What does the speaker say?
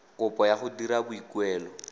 kopo ya go dira boikuelo